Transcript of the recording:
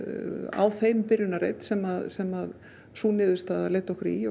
á þeim byrjunarreit sem sem sú niðurstaðan leiddi okkur í